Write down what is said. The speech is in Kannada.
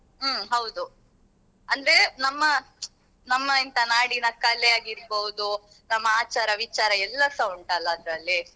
ಹ್ಮ್ ಹೌದು ಅಂದ್ರೆ ನಮ್ಮ ನಮ್ಮ ಎಂತ ನಾಡಿನ ಕಲೆ ಆಗಿರ್ಬೋದು ನಮ್ಮ ಆಚಾರ ವಿಚಾರಾ ಎಲ್ಲಸ ಉಂಟಲ್ಲ ಅದ್ರಲ್ಲಿ.